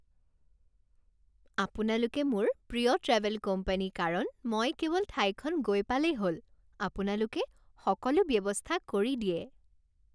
আপোনালোক মোৰ প্ৰিয় ট্ৰেভেল কোম্পানী কাৰণ মই কেৱল ঠাইখন গৈ পালেই হ'ল, আপোনালোকে সকলো ব্যৱস্থা কৰি দিয়ে